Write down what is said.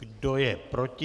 Kdo je proti?